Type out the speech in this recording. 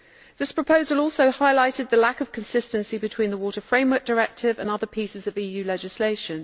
This proposal also highlighted the lack of consistency between the Water Framework Directive and other pieces of EU legislation.